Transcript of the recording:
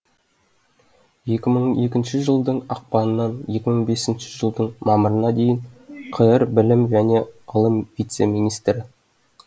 екі мың екінші жылдың ақпанынан екі мың бесінші жылдың мамырына дейін қр білім және ғылым вице министрі